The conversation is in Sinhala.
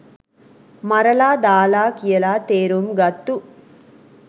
මරලා දාල කියලා තේරුම් ගත්තු